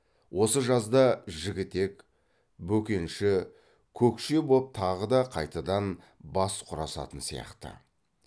осы жазда жігітек бөкенші көкше боп тағы да қайтадан бас құрасатын сияқты